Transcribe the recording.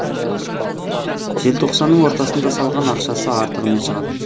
желтоқсанның ортасында салған ақшасы артығымен шығады